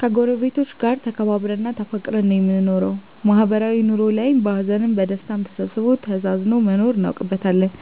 ከጎረቤቶቻችን ጋር ተከባብረን እና ተፋቅረን ነው የምንኖረው ማህበራዊ ኑሮ ላይም በሀዘንም በደስታም ተሳስቦ ተዛዝኖ መኖርን እናውቅበታለን